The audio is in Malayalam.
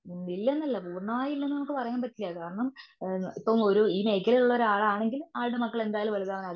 ഇല്ലെന്നല്ല പൂർണമായും ഇല്ലെന്ന് നമുക്ക് പറയാൻ പറ്റില്ല. കാരണം ഏ ഇപ്പോൾ ഒരു ഈ മേഖലയിൽ ഉള്ള ഒരാൾ ആണെങ്കിൽ ആളുടെ മക്കൾ വലുതാണെകിൽ ആകും.